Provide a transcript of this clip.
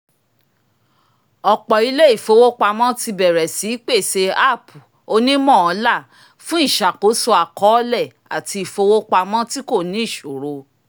ọ̀pọ̀ ilé ìfowópamọ́ ti bẹ̀rẹ̀ sí í pèsè app onímọ̀ọ́là fun iṣàkóso àkọọ́lẹ̀ àti ìfowópamọ́ tí kò ní ìṣòro